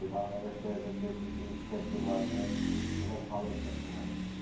বাংলাদেশে যে কৃষি ক্ষেত্রে গুলু আছে অনেক উৎপাদন হয়ে